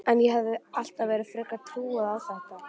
En ég hef alltaf verið frekar trúuð á þetta.